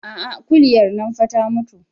A'a kuliyar nan fa ta mutu